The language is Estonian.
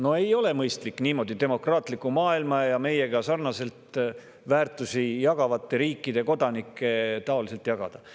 No ei ole mõistlik niimoodi demokraatlikku maailma ja meiega sarnaseid väärtusi jagavate riikide kodanikke jagada.